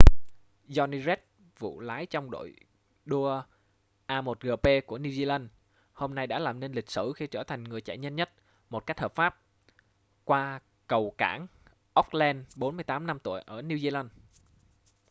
jonny reid phụ lái trong đội đua a1gp của new zealand hôm nay đã làm nên lịch sử khi trở thành người chạy nhanh nhất một cách hợp pháp qua cầu cảng auckland 48 năm tuổi ở new zealand